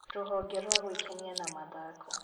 Rũhonge rwa gwĩkenia na mathako